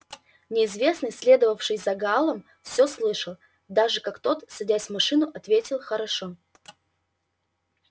неизвестный следовавший за гаалом все слышал даже как тот садясь в машину ответил хорошо